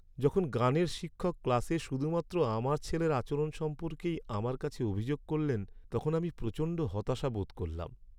যখন গানের শিক্ষক ক্লাসে শুধুমাত্র আমার ছেলের আচরণ সম্পর্কেই আমার কাছে অভিযোগ করলেন তখন আমি প্রচণ্ড হতাশা বোধ করলাম।